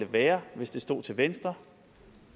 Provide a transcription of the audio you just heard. være hvis det stod til venstre